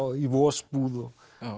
í vosbúð